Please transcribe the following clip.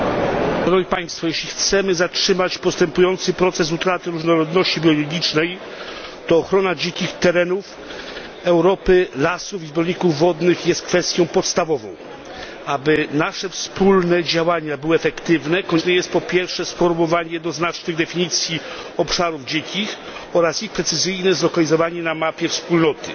Panie przewodniczący! Jeśli chcemy zatrzymać postępujący proces utraty różnorodności biologicznej, to ochrona dzikich terenów Europy, lasów i zbiorników wodnych, jest kwestią podstawową. Aby nasze wspólne działania były efektywne, konieczne jest, po pierwsze, sformułowanie jednoznacznych definicji obszarów dzikich oraz ich precyzyjne zlokalizowanie na mapie Wspólnoty.